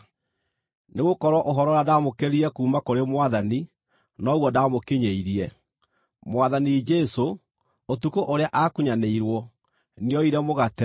Nĩgũkorwo ũhoro ũrĩa ndaamũkĩrire kuuma kũrĩ Mwathani noguo ndaamũkinyĩirie: Mwathani Jesũ, ũtukũ ũrĩa aakunyanĩirwo, nĩooire mũgate,